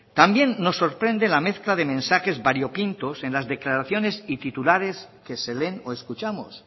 también nos sorprende la mezcla de mensajes variopintos en las declaraciones y titulares que se leen o escuchamos